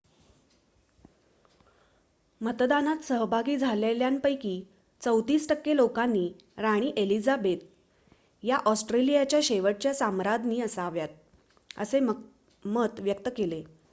मतदानात सहभागी झालेल्यांपैकी ३४ टक्के लोकांनी राणी एलिझाबेथ ii या ऑस्ट्रेलियाच्या शेवटच्या साम्राज्ञी असाव्यात असे मत व्यक्त केले